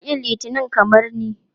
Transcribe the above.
Kuna ƙin Litinin kamar ni?